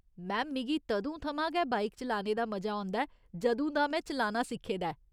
Ma'am, मिगी तदूं थमां गै बाइक चलाने दा मजा औंदा ऐ जदूं दा में चलाना सिक्खे दा ऐ।